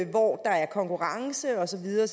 hvor der er konkurrence og så videre